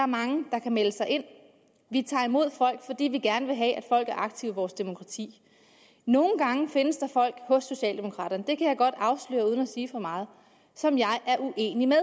mange der kan melde sig ind vi tager imod folk fordi vi gerne vil have at folk er aktive i vores demokrati nogle gange findes der folk hos socialdemokraterne det kan jeg godt afsløre uden at sige for meget som jeg er uenig med